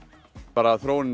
bara þróunin